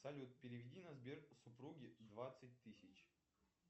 салют переведи на сбер супруги двадцать тысяч